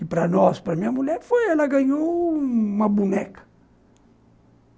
E para nós, para minha mulher, ela ganhou uma boneca.